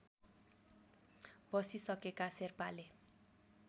बसिसकेका शेर्पाले